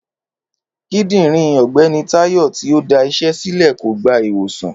Kídìrín ògbéni Táyò tí ọ dá isé sílè kò gba ìwòsàn